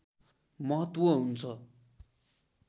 महत्त्व हुन्छ